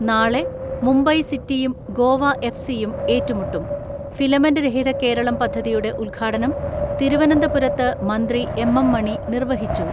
നാളെ മുംബൈ സിറ്റിയും ഗോവ എഫ് സിയും ഏറ്റുമുട്ടും ഫിലമെന്റ് രഹിത കേരളം പദ്ധതിയുടെ ഉദ്ഘാടനം തിരു വനന്തപുരത്ത് മന്ത്രി എം എം മണി നിർവഹിച്ചു.